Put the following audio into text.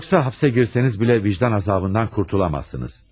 Yoxsa hapse girseniz belə vicdan azabından qurtulamazsınız.